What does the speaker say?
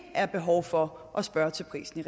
er behov for at spørge til prisen